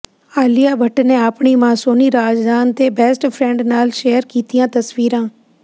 ਆਲੀਆ ਭੱਟ ਨੇ ਆਪਣੀ ਮਾਂ ਸੋਨੀ ਰਜ਼ਦਾਨ ਤੇ ਬੈਸਟ ਫਰੈਂਡ ਨਾਲ ਸ਼ੇਅਰ ਕੀਤੀਆਂ ਤਸਵੀਰਾਂ